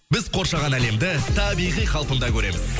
біз қоршаған әлемді табиғи қалпында көреміз